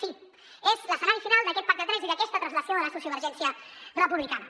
sí és l’escenari final d’aquest pacte a tres i d’aquesta translació de la sociovergència republicana